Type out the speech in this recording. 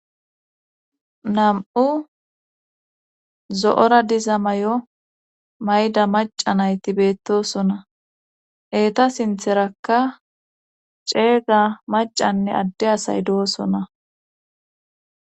Nam"u zo'ora diza may'o mayida maca nayti beettosona. eeta sintherakka ceega macanne adde asay doosona.